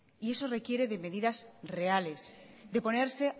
y eso requiere de medidas reales de ponerse